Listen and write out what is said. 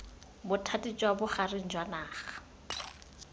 bothati jwa bogareng jwa naga